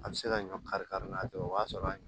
A bɛ se ka ɲɔ kari kari n'a tɛ o b'a sɔrɔ